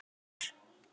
Það telur.